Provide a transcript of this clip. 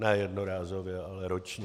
Ne jednorázově, ale ročně.